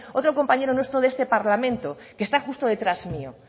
otro compañero nuestro de este parlamento que está justo detrás mío